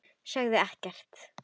Sögðu ekkert.